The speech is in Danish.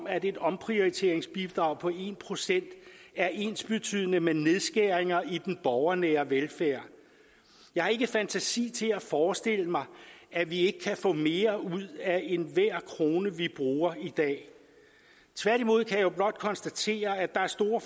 at et omprioriteringsbidrag på en procent er ensbetydende med nedskæringer i den borgernære velfærd jeg har ikke fantasi til at forestille mig at vi ikke kan få mere ud af enhver krone vi bruger i dag tværtimod kan jeg jo blot konstatere at der er store